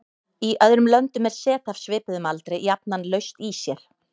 Í öðrum löndum er set af svipuðum aldri jafnan laust í sér.